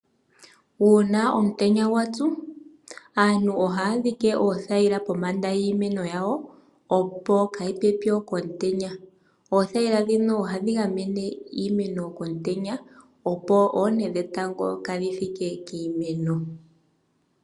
Uuna omutenya gwa tsu aantu ohaya dhike oothayila pombanda yiimeno yawo, opo kaayi pye po komutenya. Oothayila ndhino ohadhi gamene iimeno komutenya, opo oonte dhetango kaadhi thike kiimeno.